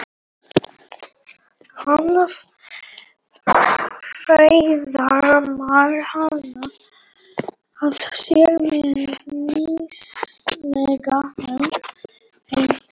Hann faðmar hana að sér með nýstárlegum hætti.